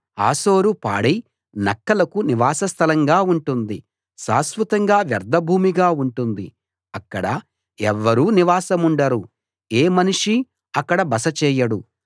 హాసోరు పాడై నక్కలకు నివాస స్థలంగా ఉంటుంది శాశ్వతంగా వ్యర్ధభూమిగా ఉంటుంది అక్కడ ఎవ్వరూ నివాసముండరు ఏ మనిషీ అక్కడ బస చేయడు